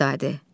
Fidadi.